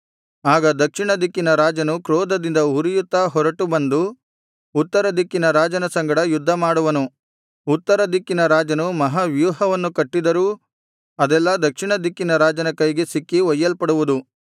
ಆಗ ದಕ್ಷಿಣ ದಿಕ್ಕಿನ ರಾಜನು ಕ್ರೋಧದಿಂದ ಉರಿಯುತ್ತಾ ಹೊರಟು ಬಂದು ಉತ್ತರ ದಿಕ್ಕಿನ ರಾಜನ ಸಂಗಡ ಯುದ್ಧ ಮಾಡುವನು ಉತ್ತರ ದಿಕ್ಕಿನ ರಾಜನು ಮಹಾವ್ಯೂಹವನ್ನು ಕಟ್ಟಿದರೂ ಅದೆಲ್ಲಾ ದಕ್ಷಿಣ ದಿಕ್ಕಿನ ರಾಜನ ಕೈಗೆ ಸಿಕ್ಕಿ ಒಯ್ಯಲ್ಪಡುವುದು